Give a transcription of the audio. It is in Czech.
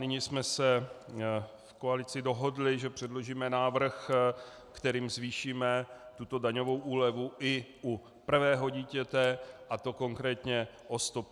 Nyní jsme se v koalici dohodli, že předložíme návrh, kterým zvýšíme tuto daňovou úlevu i u prvého dítěte, a to konkrétně o 150 korun.